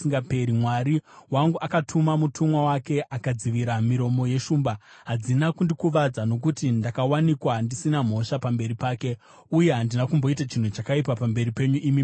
Mwari wangu akatuma mutumwa wake, akadzivira miromo yeshumba. Hadzina kundikuvadza, nokuti ndakawanikwa ndisina mhosva pamberi pake. Uye handina kumboita chinhu chakaipa pamberi penyu, imi mambo.”